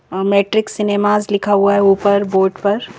अ Matrix Cinemas लिखा हुआ है ऊपर बोर्ड पर।